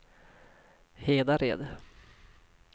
Hedared